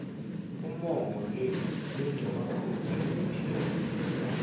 umongo lonemaphutsa ekupela